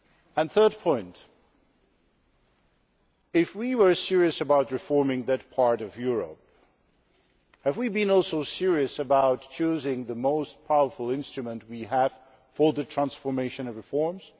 The third point is that, if we were serious about reforming that part of Europe, have we also been serious about choosing the most powerful instrument we have for the transformation of reforms?